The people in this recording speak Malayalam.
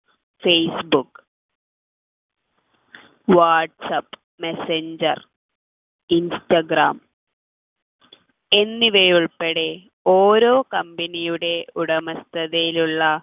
ഫേസ്ബുക്ക് വാട്ട്സ്ആപ്പ് മെസഞ്ചർ ഇൻസ്റ്റാഗ്രാം എന്നിവ ഉൾപ്പെടെ ഓരോ company യുടെ ഉടമസ്ഥതയിലുള്ള